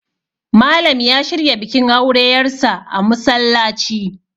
Malam ya shirya bikin aure yarsa a msallaci